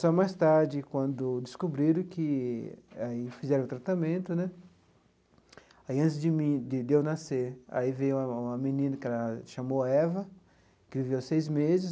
Só mais tarde, quando descobriram que aí fizeram o tratamento né, aí antes de mim de de eu nascer, aí veio uma uma menina, que ela se chamou Eva, que viveu seis meses.